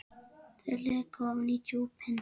Þau leka ofan í djúpin.